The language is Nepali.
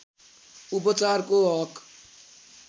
उपचारको हक